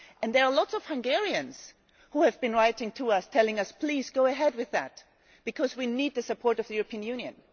There are a lot of Hungarians who have been writing to us, telling us please go ahead with that, because we need the support of the European Union'.